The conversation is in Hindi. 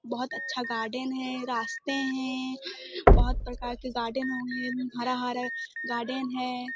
बहोत अच्छा गार्डन हैं रास्ते हैं बहोत प्रकार के गार्डन होंगे। हरा-हरा गार्डन है।